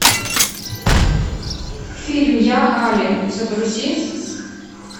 фильм я али загрузи